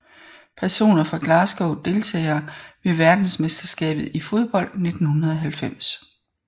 Personer fra Glasgow Deltagere ved verdensmesterskabet i fodbold 1990